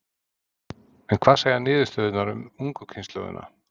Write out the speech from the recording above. En hvað segja niðurstöðurnar um ungu kynslóðina?